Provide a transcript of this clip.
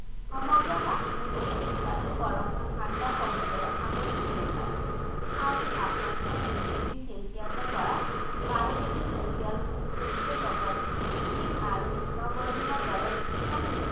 সমগ্ৰ কাশ্মীৰ উপত্যকাটো বৰফত ঠাণ্ডা কম্বলেৰে আৱৰা যেন লাগে আৰু তাপ-মাত্ৰা দুই degree celcius ৰ পৰা বাৰ degree celcius লৈকে লগত skiing আৰু snowboarding ৰ দৰে কিছুমান শীত